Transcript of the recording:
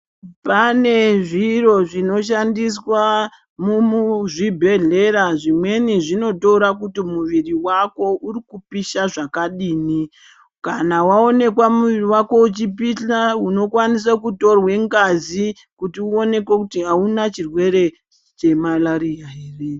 Pane zviro zvinoshandiswa mumuzvibhedhlera zvimweni zvinotora kuti muviri vako uri kupihla zvakadini. Kana vaonekwa mwiri vako uchipihla unokwanisa kutorwe ngazi kuti uonekwe kuti hauna chirwere chemarariya ere.